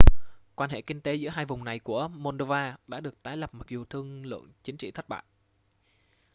quan hệ kinh tế giữa hai vùng này của moldova đã được tái lập mặc dù thương lượng chính trị thất bại